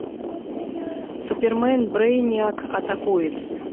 супермен брейниак атакует